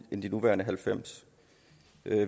end de nuværende halvfems